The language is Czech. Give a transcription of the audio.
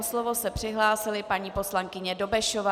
O slovo se přihlásila paní poslankyně Dobešová.